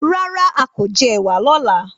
Rárá, a kò jẹ ẹ̀wà lọ́la.